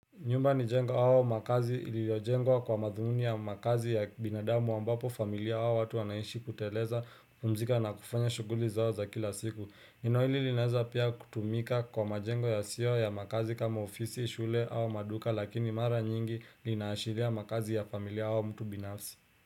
Nyumba ni jengo au makazi iliyojengwa kwa madhumuni ya makazi ya binadamu ambapo familia ya hao watu wanaishi kuteleza kupumzika na kufanya shughuli zao za kila siku. Neno hili linaeza pia kutumika kwa majengo yasio ya makazi kama ofisi, shule au maduka lakini mara nyingi linaashiria makazi ya familia au mtu binafsi.